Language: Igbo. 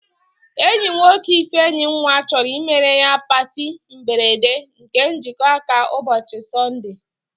Enyi nwoke Ifenyinwa chọrọ imere ya patị mberede nke njikọ aka ụbọchị Sọnde